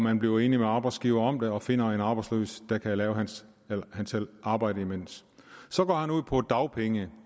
han bliver enig med arbejdsgiveren om finder en arbejdsløs der kan lave arbejdet imens så går han ud på dagpenge